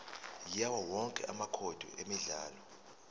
yawowonke amacode emidlalo